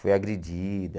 Foi agredida.